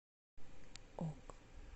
ок